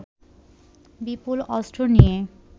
বিপুল অস্ত্র নিয়ে